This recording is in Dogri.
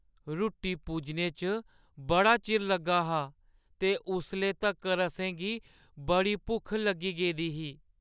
रुट्टी पुज्जने च बड़ा चिर लग्गा हा ते उसले तक्कर असेंगी बड़ी भुक्ख लग्गी गेदी ही।